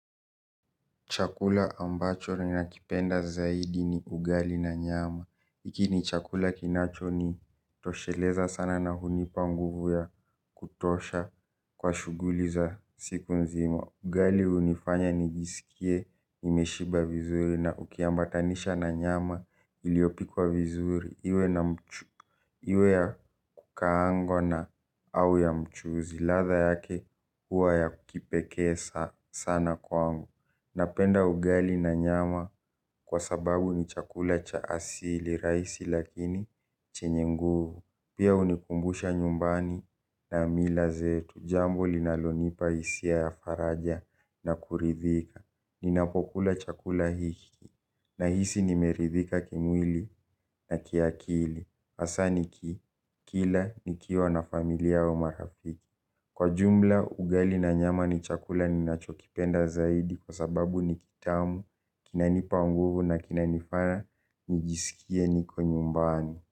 Chakula ambacho ninakipenda zaidi ni ugali na nyama. Iki ni chakula kinacho ni tosheleza sana na hunipa mguvu ya kutosha kwa shuguli za siku nzimo. Ugali unifanya nijisikie nimeshiba vizuri na ukiambatanisha na nyama iliopikwa vizuri. Iwe ya kukaangwa na au ya mchuzi. Latha yake huwa ya kikipekee sana kwangu. Napenda ugali na nyama kwa sababu ni chakula cha asili chakula rahisi lakini chenye nguvu. Pia unikumbusha nyumbani na mila zetu. Jambo linalo nipa hisia ya faraja na kuridhika. Ninapokula chakula hiki na hisi nimeridhika kimwili na kiakili. Asaa nikikila nikiwa na familia au marafiki. Kwa jumla, ugali na nyama ni chakula ni nachokipenda zaidi kwa sababu ni kitamu, kinanipa nguvu na kinanifana, nigisikie niko nyumbani.